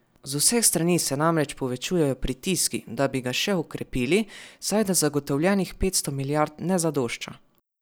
Z vseh strani se namreč povečujejo pritiski, da bi ga še okrepili, saj da zagotovljenih petsto milijard ne zadošča.